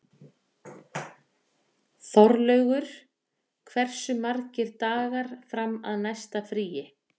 Þorlaugur, hversu margir dagar fram að næsta fríi?